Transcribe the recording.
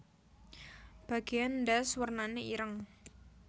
Bagéan ndas wernané ireng